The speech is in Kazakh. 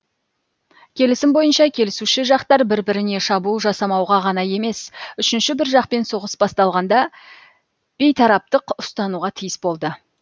келісім бойынша келісуші жақтар бір біріне шабуыл жасамауға ғана емес үшінші бір жақпен соғыс басталғанда бейтараптық ұстануға тиіс болды